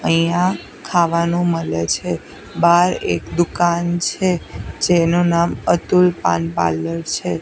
અહીંયા ખાવાનુ મલે છે બાર એક દુકાન છે જેનુ નામ અતુલ પાન પાર્લર છે.